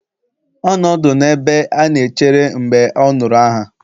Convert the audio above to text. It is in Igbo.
Ọ nọ ọdụ n'ebe a na-echere mgbe ọ nụrụ aha.